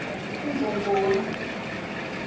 ngongoni